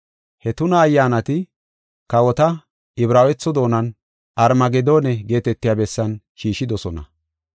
He tuna ayyaanati kawota Ibraawetho doonan Armagedoone geetetiya bessan shiishidosona.